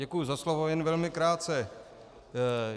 Děkuji za slovo, jen velmi krátce.